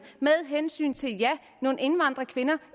hensyn til nogle indvandrerkvinder